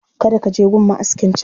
Kada ka je gun ma'askin can